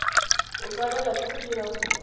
o tshwanela ke go dira